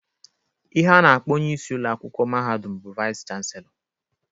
Ihe a na-akpọ onye isi ụlọakwụkwọ mahadum bụ Vais Chansịlọ.